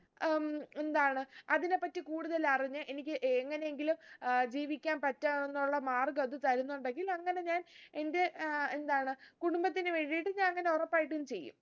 ഉം എന്താണ് അതിനെ പറ്റി കൂടുതൽ അറിഞ്ഞ് എനിക്ക് എങ്ങനെയെങ്കിലും ഏർ ജീവിക്കാൻ പറ്റാവുന്നുള്ള മാർഗം അത് തരുന്നുണ്ടെങ്കിൽ അങ്ങനെ ഞാൻ എന്റെ ഏർ എന്താണ് കുടുംബത്തിന് വേണ്ടീട്ട് ഞാൻ അങ്ങനെ ഉറപ്പായിട്ടു ചെയ്യും